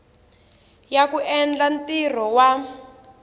ya ku endla ntirho wa